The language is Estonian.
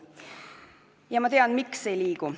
Ja ma tean, miks ei liigu.